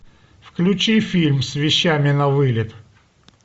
включи фильм с вещами на вылет